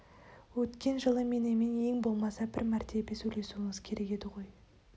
өткен жылы менімен ең болмаса бір мәртебе сөйлесуіңіз керек еді ғой